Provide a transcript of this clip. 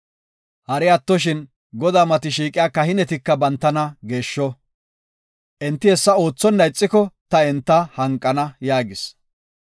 Hari atto Godaa mati shiiqiya kahinetika bantana geeshsho. Enti hessa oothonna ixiko ta enta hanqana” yaagis.